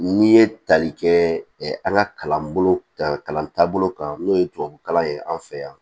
N'i ye tali kɛ an ka kalanbolo kan kalan taabolo kan n'o ye tubabukalan ye an fɛ yan